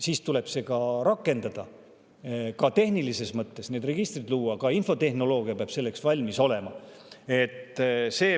Seda tuleb rakendada, ka tehnilises mõttes, luua registrid, ka infotehnoloogia peab selleks valmis olema.